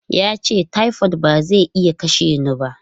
Ya ce, "typhoid ba zai iya kashe ni ba!".